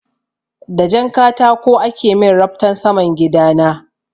Da jan katako ake min raftan saman gida na.